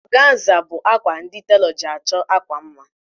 Ọganza bụ akwa ndi telọ ji achọ akwa mma